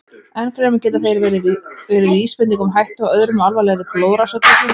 Enn fremur geta þeir verið vísbending um hættu á öðrum og alvarlegri blóðrásartruflunum.